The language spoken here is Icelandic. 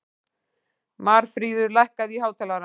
Marfríður, lækkaðu í hátalaranum.